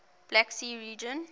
black sea region